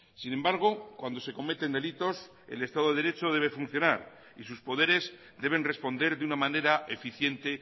sin embargo cuando se cometen delitos el estado de derecho debe funcionar y sus poderes deben responder de una manera eficiente